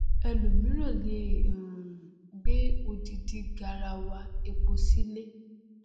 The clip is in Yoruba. ẹlòmíràn lè um gbé odindi garawa epo sílé